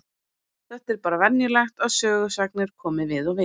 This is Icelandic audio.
Þetta er bara venjulegt að sögusagnir komi við og við.